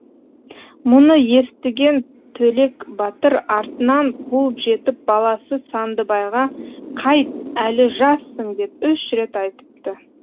мұны естіген төлек батыр артынан қуып жетіп баласы сандыбайға қайт әлі жассың деп үш рет айтыпты